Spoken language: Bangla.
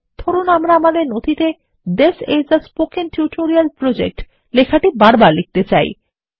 ধরুন আমরা আমাদের নথিতে this is a spoken tutorial project লেখাটি বারবার লিখতে চাই